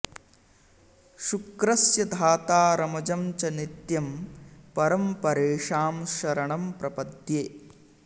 शुक्रस्य धातारमजं च नित्यं परं परेषां शरणं प्रपद्ये